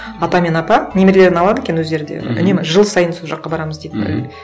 ата мен апа немерелерін алады екен өздері де үнемі жыл сайын сол жаққа барамыз дейді бір мхм